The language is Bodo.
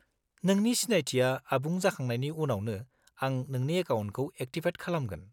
-नोंनि सिनायथिया आबुं जाखांनायनि उनावनो आं नोंनि एकाउन्टखौ एक्टिभेट खालामगोन।